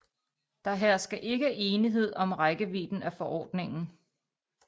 Der hersker ikke enighed om rækkevidden af forordningen